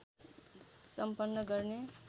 सम्पन्न गर्ने